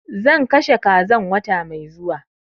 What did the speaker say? Zan kashe kazan wata mai zuwa